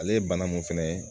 Ale ye bana mun fɛnɛ ye